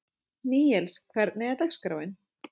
Níels, hvernig er dagskráin?